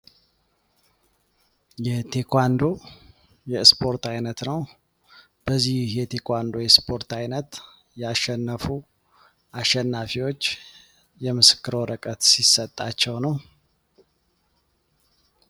የቴኳንዶ የእስፖርት አይነት ነው። በዚህ የቴኳንዶ የስፖርት ዓይነት ያሸነፉ አሸናፊዎች የምስክር ወረቀት ሲሰጣቸው ነው።